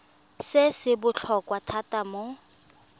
se se botlhokwa thata mo